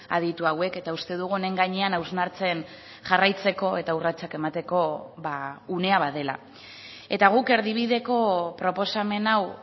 aditu hauek eta uste dugu honen gainean hausnartzen jarraitzeko eta urratsak emateko unea badela eta guk erdibideko proposamen hau